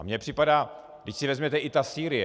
A mně připadá - vždyť si vezměte, i ta Sýrie.